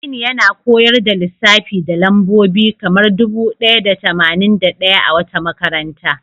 Aminu yana koyar da lissafi da lambobi kamar dubu ɗaya da tamanin da ɗaya a wata makaranta.